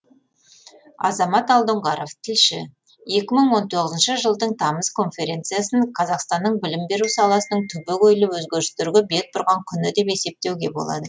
азамат алдоңғаров тілші екі мың он тоғызыншы жылдың тамыз конференциясын қазақстанның білім беру саласының түбегейлі өзгерістерге бет бұрған күні деп есептеуге болады